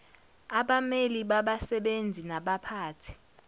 abameli babasebenzi nabaphathi